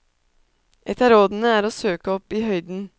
Ett av rådene er å søke opp i høyden.